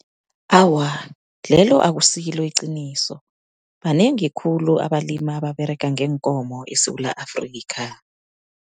Awa, lelo akusilo iqiniso. Banengi khulu abalimi ababerega ngeenkomo eSewula Afrika.